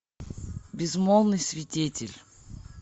безмолвный свидетель